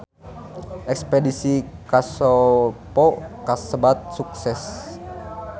Espedisi ka Kosovo kasebat sukses